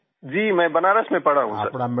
जी मैं बनारस में पढ़ा हूँ सर